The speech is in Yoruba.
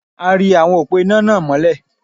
A ri awọn òpó iná náà mọ́lẹ̀.